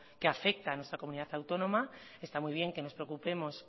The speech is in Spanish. que afecta a nuestra comunidad autónoma está muy bien que nos preocupemos